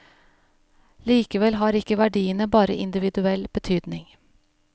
Likevel har ikke verdiene bare individuell betydning.